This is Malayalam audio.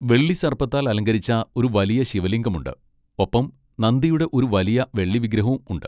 വെള്ളി സർപ്പത്താൽ അലങ്കരിച്ച ഒരു വലിയ ശിവലിംഗമുണ്ട്, ഒപ്പം നന്ദിയുടെ ഒരു വലിയ വെള്ളി വിഗ്രഹവും ഉണ്ട്.